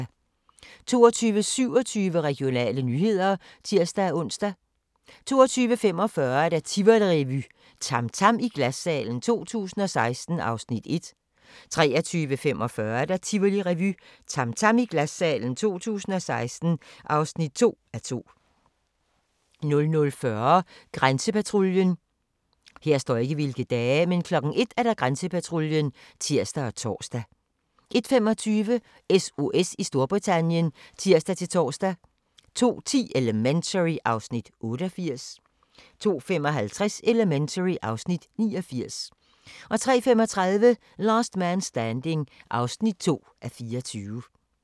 22:27: Regionale nyheder (tir-ons) 22:45: Tivolirevy - TAM TAM i Glassalen 2016 (1:2) 23:45: Tivolirevy - TAM TAM i Glassalen 2016 (2:2) 00:40: Grænsepatruljen 01:00: Grænsepatruljen (tir-tor) 01:25: SOS i Storbritannien (tir-tor) 02:10: Elementary (Afs. 88) 02:55: Elementary (Afs. 89) 03:35: Last Man Standing (2:24)